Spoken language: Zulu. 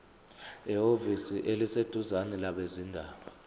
ehhovisi eliseduzane labezindaba